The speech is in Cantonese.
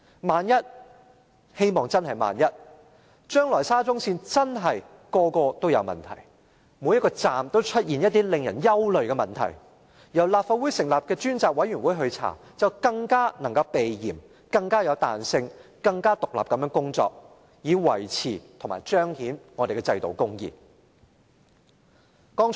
萬一——希望真的只是萬一——將來沙中線的每個車站也出現令人憂慮的問題，由立法會成立的專責委員會展開調查，便更能避嫌、更有彈性、更能獨立地工作，以維持和彰顯我們的制度公義。